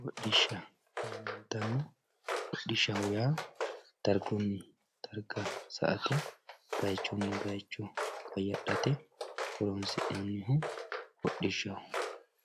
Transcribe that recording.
Hodhisha yamantano hodhishaho yaa darguni sa`ate bayichuni bayicho qayadhate horonsinaniho hodhishaho